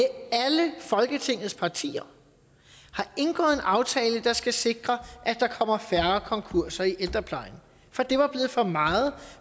alle folketingets partier har indgået en aftale der skal sikre at der kommer færre konkurser i ældreplejen for det var blevet for meget